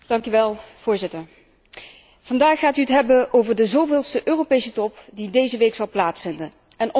Vandaag gaat u het hebben over de zoveelste Europese top die deze week zal plaatsvinden en onder andere over belastingontduiking.